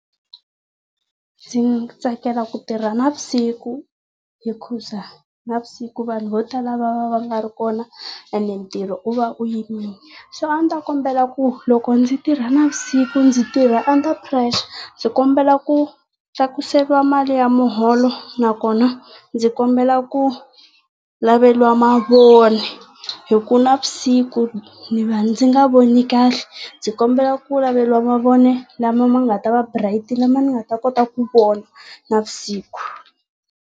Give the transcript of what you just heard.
Ndzi tsakela ku tirha navusiku hikuza navusiku vanhu vo tala va va va nga ri kona ene ntirho u va u yimile. So a ndzi ta kombela ku loko ndzi tirha navusiku ndzi tirha under pressure. Ndzi kombela ku tlaakuseriwa mali ya muholo nakona ndzi kombela ku laveliwa mavoni hi ku navusiku ndzi va ndzi nga voni kahle. Ndzi kombela ku laveliwa mavoni lama ma nga ta va bright lama ni nga ta kota ku vona navusiku.